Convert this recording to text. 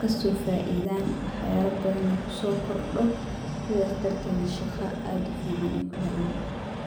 kasoo faidaan wax yaaba fara badan kusoo kordo, sidaas darteed shaqo kuhelaan.